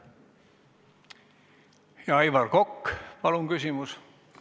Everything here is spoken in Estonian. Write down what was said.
Aivar Kokk, palun küsimus!